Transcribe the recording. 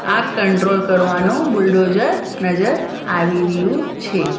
આ કંટ્રોલ કરવાનો બુલડોઝર નજર આવી રહ્યુ છે.